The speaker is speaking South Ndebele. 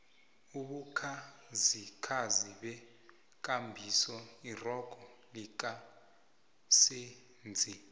ubukhazikhazi bukghabisa irogo lika senzi